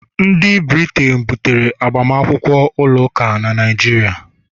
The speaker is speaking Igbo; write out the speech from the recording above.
Ndị Briten butere agbamakwụkwọ ụlọ ụka na Naịjirịa